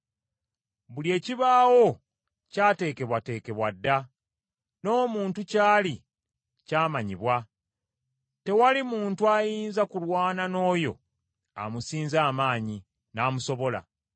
Buli ekibaawo ky’ateekebwateekebwa dda, n’omuntu kyali kyamanyibwa, tewali muntu ayinza kulwana n’oyo amusinza amaanyi, n’amusobola.